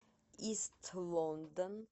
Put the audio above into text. ист лондон